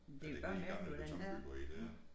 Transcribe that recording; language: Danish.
Ja det hele gamle betonbyggeri der